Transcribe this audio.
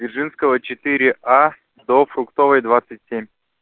дзержинского четыре а до фруктовой двадцать семь